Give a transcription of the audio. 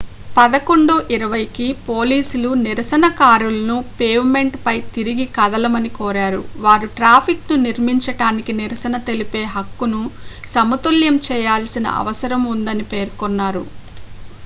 11:20 కి పోలీసులు నిరసనకారులను పేవ్ మెంట్ పై తిరిగి కదలమని కోరారు వారు ట్రాఫిక్ ను నిర్మించడానికి నిరసన తెలిపే హక్కును సమతుల్యం చేయాల్సిన అవసరం ఉందని పేర్కొన్నారు